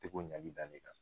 Te k'o ɲali da ne kan.